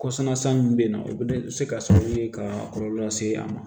Kɔsan min bɛ yen nɔ o bɛ se ka kɛ sababu ye ka kɔlɔlɔ lase a ma